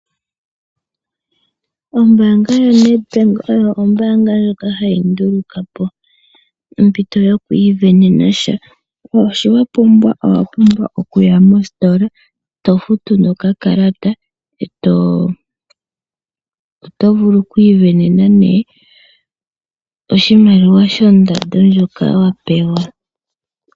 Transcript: Ombaanga yaNedbank oyo ombaanga ndjoka hayi nduluka po ompito yokwiisindanena sha. Sho wa pumbwa, owa pumbwa okuya mostola, to futu nokakalata. Oto vulu okwiisindanena oshimaliwa shondando ndjoka wa pewa.